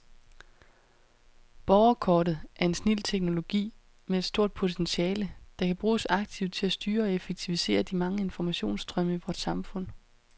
Borgerkortet er en snild teknologi med et stort potentiale, der kan bruges aktivt til at styre og effektivisere de mange informationsstrømme i vort samfund.